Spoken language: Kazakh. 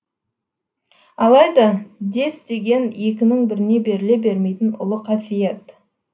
алайда дес деген екінің біріне беріле бермейтін ұлы қасиет